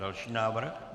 Další návrh.